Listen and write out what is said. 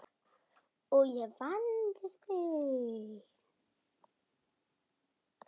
Og ég vandist því.